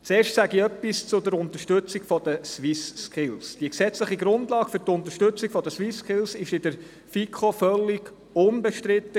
Zuerst etwas zur Unterstützung der SwissSkills: Die gesetzliche Grundlage für die Unterstützung der SwissSkills war in der FiKo völlig unbestritten.